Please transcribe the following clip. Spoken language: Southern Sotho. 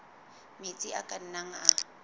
metsi a ka nnang a